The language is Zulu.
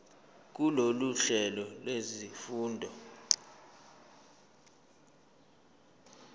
kulolu hlelo lwezifundo